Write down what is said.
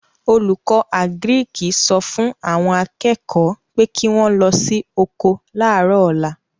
Olùkọ́ àgíríkì sọ fún àwọn akẹ́kọ̀ọ́ pé kí wọ́n lọ sí oko láàrọ̀ ọ̀la